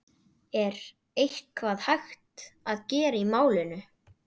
Er eitthvað hægt að gera í málinu?